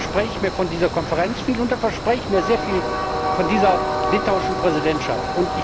Da verspreche ich mir von dieser Konferenz viel, und da verspreche ich mir sehr viel von dieser litauischen Präsidentschaft.